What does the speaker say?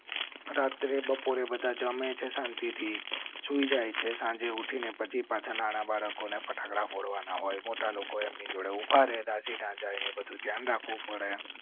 રાત્રે બપોરે બધા જમે છે. શાંતિ થી સૂઈ જાય છે. સાંજે ઉઠી ને પછી પાછા નાના બાળકો ને ફટાકડા ફોડવા ના હોય. મોટા લોકો એમ ની જોડે. રાખવો પડે